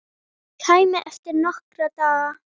Hann kæmi eftir nokkra daga.